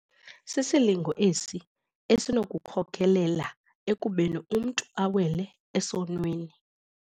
Sisilingo esi esinokukhokelela ekubeni umntu awele esonweni.